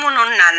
Munnu na